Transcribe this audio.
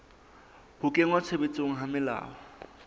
ho kenngwa tshebetsong ha melao